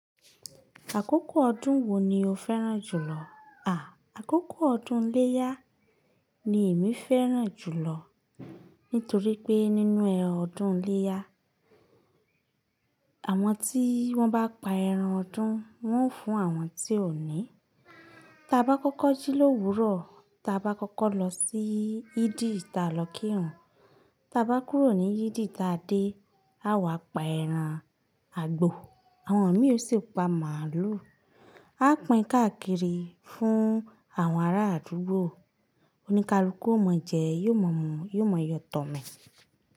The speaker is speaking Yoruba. Àkókò ọdún wo ni o féràn jùlọ? Àkókò ọdún ileya ni èmi féràn jùlọ nítorí pé nínú ọdún ileya, àwọn tí wọ́n bá pa ẹran ọdún, wọ́n ó fún àwọn tí ò ní. Ta bá kọ́kọ́ jí l'òwúrọ̀, tí a bá kọ́kọ́ lọ sí ìdí tí a lọ kírun, tí a bá kúrò ní ìdí tí a dé, a wà pa ẹran àgbo. Àwọn mi ò sì pa màálù. A pín káàkiri fún àwọn ará àdúgbò. Oníkálukú ó mọ̀ọ́ jẹ, yóò mọ̀ mu, yóò mọ yọ̀tọ̀mí.